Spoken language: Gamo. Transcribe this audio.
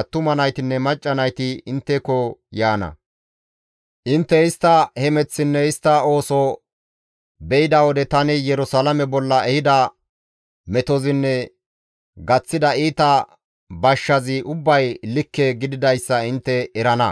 attuma naytinne macca nayti intteko yaana; intte istta hemeththinne istta ooso be7ida wode tani Yerusalaame bolla ehida metozinne gaththida iita bashshazi ubbay likke gididayssa intte erana.